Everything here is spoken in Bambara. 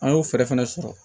An y'o fɛɛrɛ fɛnɛ sɔrɔ